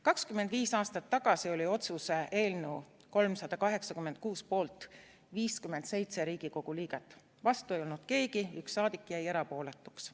25 aastat tagasi oli otsuse eelnõu 386 poolt 57 Riigikogu liiget, vastu ei olnud keegi, 1 saadik jäi erapooletuks.